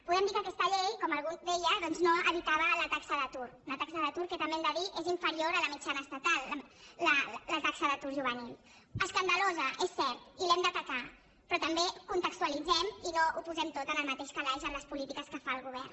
podem dir que aquesta llei com algú deia doncs no evitava la taxa d’atur una taxa d’atur que també ho hem de dir és inferior a la mitjana estatal la taxa d’atur juvenil escandalosa és cert i l’hem d’atacar però també contextualitzem i no ho posem tot en el mateix calaix en les polítiques que fa el govern